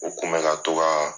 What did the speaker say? U kun bɛ ka to ka